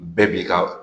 Bɛɛ b'i ka